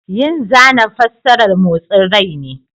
Yin zana fassarar motsin rai ne.